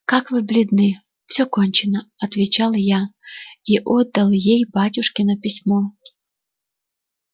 как вы бледны всё кончено отвечал я и отдал ей батюшкино письмо